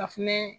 Ka fɛnɛ